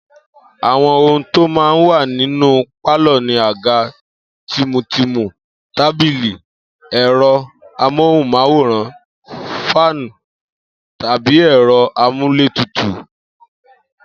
Àwo̩n ohun tó máa ń wà nínú pálò̩ ni àga tìmùtìmù, tábìlì, è̩ro̩ amóhùn-máwòrán, fáànì tàbí è̩ro̩ amúlétutù, abbl.